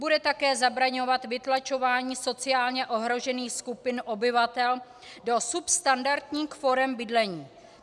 Bude také zabraňovat vytlačování sociálně ohrožených skupin obyvatel do substandardních forem bydlení.